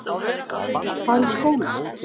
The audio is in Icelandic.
Að fara í skólann!